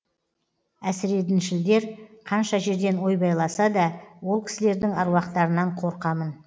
әсіредіншілдер қанша жерден ойбайласа да ол кісілердің аруақтарынан қорқамын